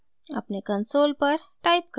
अपने कंसोल पर टाइप करें: